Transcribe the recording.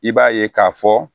I b'a ye k'a fɔ